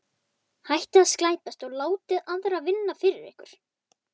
Hættið að slæpast og láta aðra vinna fyrir ykkur.